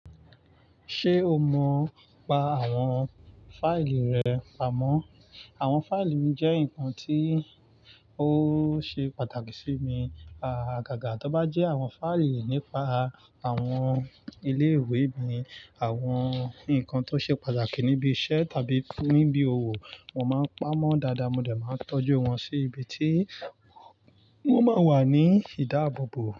Ṣé o mọ̀ pa àwọn fáìlì rẹ pamọ́? Àwọn fáìlì mi jẹ́ nǹkan tí ó ṣe pàtàkì sí mi, a gágà tọ́ bá jẹ́ àwọn fáìlì nípa àwọn ilé ìwé mi, àwọn nǹkan tó ṣe pàtàkì níbi iṣẹ́ tàbí níbi òwò, mo máa ń pamọ́ dáadáa, mo dẹ̀ máa ń tọ́jú wọn sí ibi tí wọ́n máa ń wà ní ìdábòbò.